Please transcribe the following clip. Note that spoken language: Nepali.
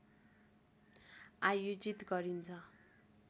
आयोजित गरिन्छ